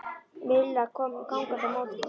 Milla kom gangandi á móti honum.